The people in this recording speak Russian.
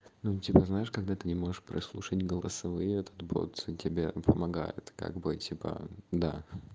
ну типа знаешь когда ты не можешь прослушать голосовые этот бот за тебя помогает как бы типа да